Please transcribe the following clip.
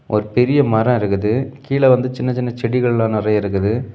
ஒரு பெரிய மரோ இருக்குது. கீழ வந்து சின்ன சின்ன செடிகள் எல்லா நெறைய இருக்குது.